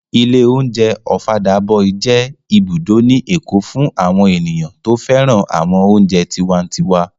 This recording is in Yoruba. Ilé oúnjẹ Ọ̀fadà boy jẹ́ ibùdó ní èkó fún àwọn ènìyàn tó féràn àwọn oúnjẹ tiwantiwa